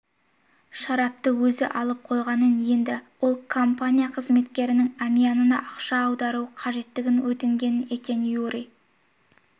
шарапты өзі алып қойғанын енді ол компания қызметкерінің әмиянына ақша аударуы қажеттігін өтінген екен юрий